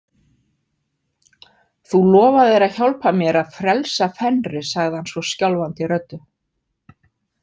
Þú lofaðir að hjálpa mér að frelsa Fenri, sagði hann svo skjálfandi röddu.